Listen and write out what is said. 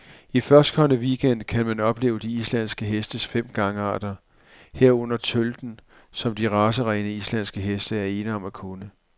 I førstkommende weekend gang kan man opleve de islandske hestes fem gangarter, herunder tølten, som de racerene, islandske heste er ene om at kunne.